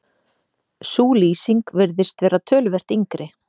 Sú lýsing virðist vera töluvert yngri.